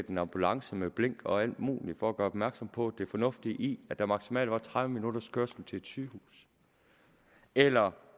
en ambulance med blink og alt muligt for at gøre opmærksom på det fornuftige i at der maksimalt var tredive minutters kørsel til et sygehus eller